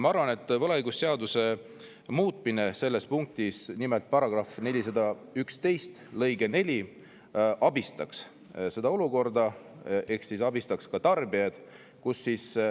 Ma arvan, et võlaõigusseaduse § 411 lõike 4 muutmine olukorda ehk abistaks tarbijaid.